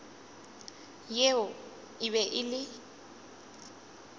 yeo e be e le